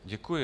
Děkuji.